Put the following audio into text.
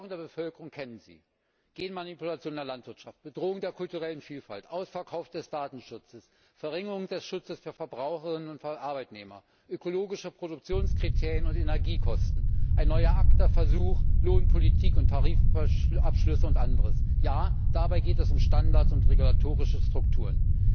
Die Sorgen der Bevölkerung kennen Sie Genmanipulation in der Landwirtschaft, Bedrohung der kulturellen Vielfalt, Ausverkauf des Datenschutzes, Verringerung des Schutzes für Verbraucher und Arbeitnehmer, ökologische Produktionskriterien und Energiekosten, ein neuer ACTA Versuch, Lohnpolitik und Tarifabschlüsse und anderes. Ja, dabei geht es um Standards und regulatorische Strukturen.